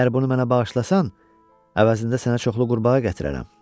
Əgər bunu mənə bağışlasan, əvəzində sənə çoxlu qurbağa gətirərəm.